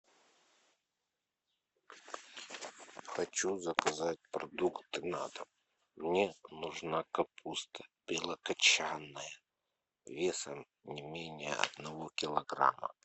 хочу заказать продукты на дом мне нужна капуста белокочанная весом не менее одного килограмма